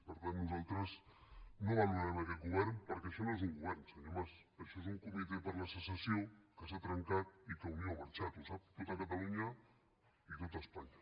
per tant nosaltres no valorarem aquest govern perquè això no és un govern senyor mas això és un comitè per la secessió que s’ha trencat i que unió ha marxat ho sap tot catalunya i tot espanya